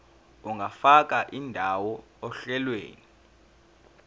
ungafaka indawo ohlelweni